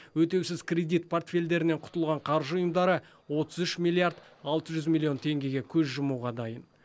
өтеусіз кредит портфельдерінен құтылған қаржы ұйымдары отыз үш миллиард алты жүз миллион теңгеге көз жұмуға дайын